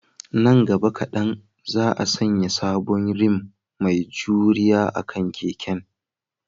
Nan gaba kadan, za a sanya sabon rim mai juriya akan keken